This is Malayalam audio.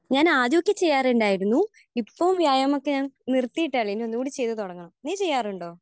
ഞാൻ ആദ്യമൊക്കെ ചെയ്യാറുണ്ടായിരുന്നു. ഇപ്പോൾ വ്യായാമമൊക്കെ ഞാൻ നിർത്തിയിട്ടാണുള്ളത്. ഇനി ആദ്യമേ ചെയ്തു തുടങ്ങണം. നീ ചെയ്യാറുണ്ടോ?